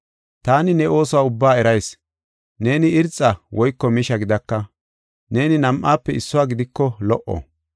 Taani ne oosuwa ubba erayis; neeni irxa woyko misha gidaka; neeni nam7aafe issuwa gidiko lo77o!